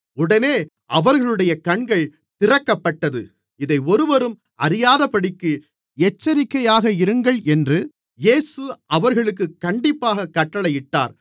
உடனே அவர்களுடைய கண்கள் திறக்கப்பட்டது இதை ஒருவரும் அறியாதபடிக்கு எச்சரிக்கையாக இருங்கள் என்று இயேசு அவர்களுக்குக் கண்டிப்பாய்க் கட்டளையிட்டார்